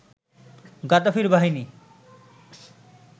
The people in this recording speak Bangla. গাদ্দাফির বাহিনী